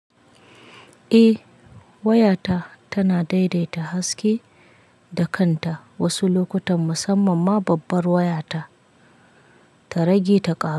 Eh, waya ta tana daidaita haske da kanta wasu lokutan musamman ma babbar waya ta, ta rage ta ƙara.